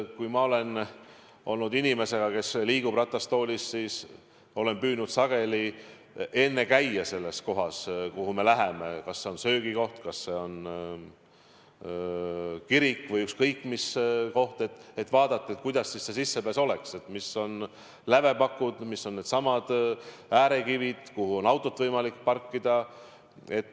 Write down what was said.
Kui ma olen olnud inimesega, kes liigub ratastoolis, siis olen püüdnud sageli enne ära käia selles kohas, kuhu me läheme, kas see on siis söögikoht, kirik või ükskõik mis koht, et vaadata, kuidas see sissepääs on, millised on lävepakud, millised on needsamad äärekivid ja kuhu on autot võimalik parkida.